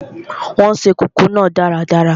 Wọn se kókò náà dáradára